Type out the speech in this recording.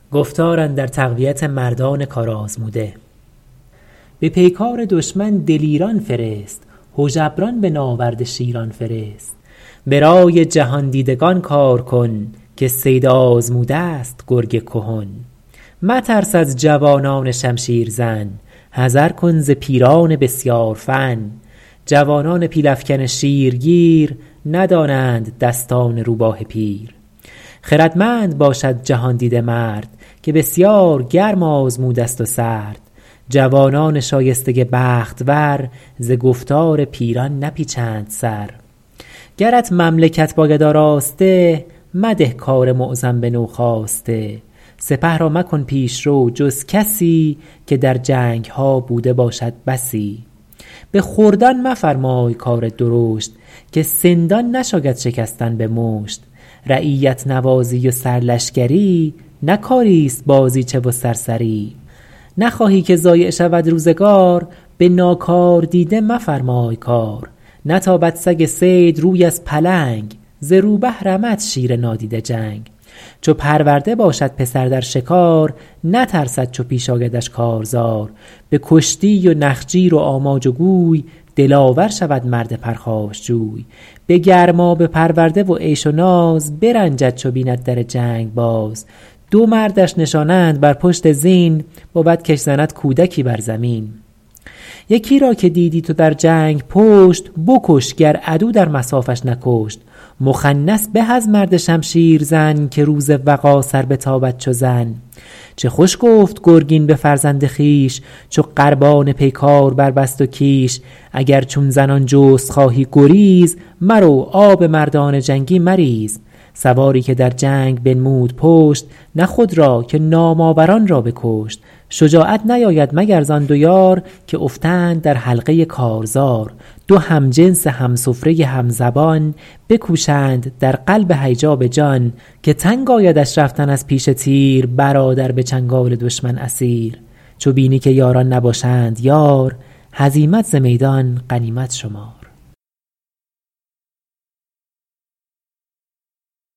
به پیکار دشمن دلیران فرست هژبران به ناورد شیران فرست به رای جهاندیدگان کار کن که صید آزموده ست گرگ کهن مترس از جوانان شمشیر زن حذر کن ز پیران بسیار فن جوانان پیل افکن شیرگیر ندانند دستان روباه پیر خردمند باشد جهاندیده مرد که بسیار گرم آزموده ست و سرد جوانان شایسته بخت ور ز گفتار پیران نپیچند سر گرت مملکت باید آراسته مده کار معظم به نوخاسته سپه را مکن پیشرو جز کسی که در جنگها بوده باشد بسی به خردان مفرمای کار درشت که سندان نشاید شکستن به مشت رعیت نوازی و سر لشکری نه کاری است بازیچه و سرسری نخواهی که ضایع شود روزگار به ناکاردیده مفرمای کار نتابد سگ صید روی از پلنگ ز روبه رمد شیر نادیده جنگ چو پرورده باشد پسر در شکار نترسد چو پیش آیدش کارزار به کشتی و نخجیر و آماج و گوی دلاور شود مرد پرخاشجوی به گرمابه پرورده و عیش و ناز برنجد چو بیند در جنگ باز دو مردش نشانند بر پشت زین بود کش زند کودکی بر زمین یکی را که دیدی تو در جنگ پشت بکش گر عدو در مصافش نکشت مخنث به از مرد شمشیر زن که روز وغا سر بتابد چو زن چه خوش گفت گرگین به فرزند خویش چو قربان پیکار بربست و کیش اگر چون زنان جست خواهی گریز مرو آب مردان جنگی مریز سواری که در جنگ بنمود پشت نه خود را که نام آوران را بکشت شجاعت نیاید مگر زآن دو یار که افتند در حلقه کارزار دو همجنس همسفره همزبان بکوشند در قلب هیجا به جان که تنگ آیدش رفتن از پیش تیر برادر به چنگال دشمن اسیر چو بینی که یاران نباشند یار هزیمت ز میدان غنیمت شمار